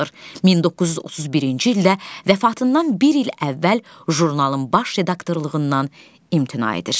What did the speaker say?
1931-ci ildə vəfatından bir il əvvəl jurnalın baş redaktorluğundan imtina edir.